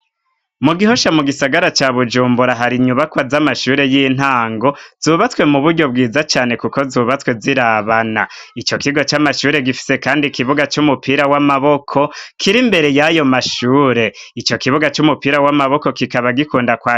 Mu gihosha mu gisagara ca bujumbura hari inyubakwa z'amashure y'intango zubatswe mu buryo bwiza cane, kuko zubatswe zirabana ico kiga c'amashure gifise, kandi ikibuga c'umupira w'amaboko kiri imbere yayo mashure ico kibuga c'umupira w'amaboko kikaba gikundakoa.